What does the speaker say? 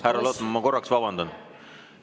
Härra Lotman, ma korraks vabandan.